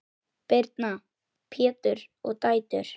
Birna, Pétur og dætur.